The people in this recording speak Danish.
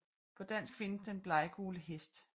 På dansk findes Den bleggule Hest